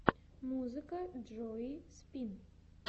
музыка джои спин